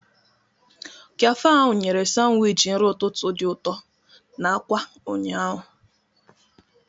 Kafe ahụ nyere Sanwichi nri ụtụtụ dị ụtọ na akwa ụnyaahụ.